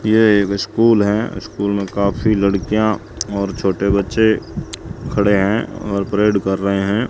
ये वैसे स्कूल हैं स्कूल में काफी लड़कियां और छोटे बच्चे खड़े हैं और परेड कर रहे हैं।